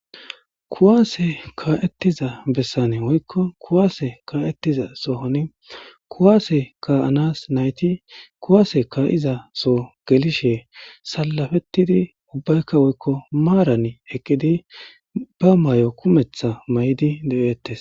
Kuwaase kaa7ettiza bessani woykko kuwaase ka7ettiza sohon kuwaase kaa7anas nayti kuwaase ka7iza so gelishe salafettidi ubbaykka woykko maaran eqqidi ba mayo kumetha mayidi de7ettes.